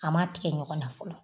A ma tigɛ ɲɔgɔn na fɔlɔ